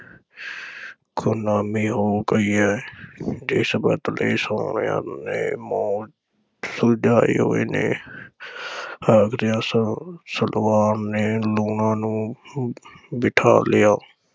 ਖ਼ੁਨਾਮੀ ਹੋ ਗਈ ਐ ਜਿਸ ਬਦਲੇ ਸੋਹਣਿਆਂ ਨੇ ਮੂੰਹ ਸੁਜਾਏ ਹੋਏ ਨੇ ਆਖਦਿਆਂ ਸ~ ਸਲਵਾਨ ਨੇ ਲੂਣਾਂ ਨੂੰ ਬਿਠਾ ਲਿਆ।